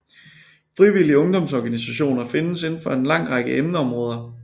Frivillige ungdomsorganisationer findes indenfor en lang række emneområder